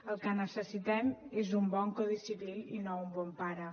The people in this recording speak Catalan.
el que necessitem és un bon codi civil i no un bon pare